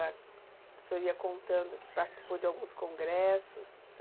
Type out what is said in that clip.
O senhor ia contando que participou de alguns congressos?